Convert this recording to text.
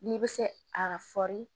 N'i bɛ se a